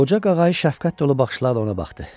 Qoca qağayı şəfqət dolu baxışlarla ona baxdı.